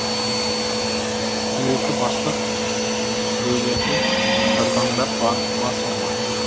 дөрекі бастық дөйлерге жарбаңдап барып бас ұрма